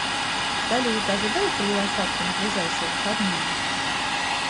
салют ожидаются ли осадки на ближайшие выходные